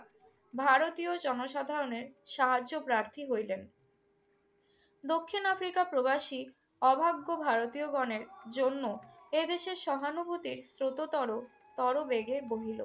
ভারতীয় জনসাধারণের সাহায্যপ্রার্থী হইলেন। দক্ষিণ আফ্রিকা প্রবাসী অভাগ্য ভারতীয়গণের জন্য এদেশের সহানুভূতির স্ৰোততর তরবেগে বহিল।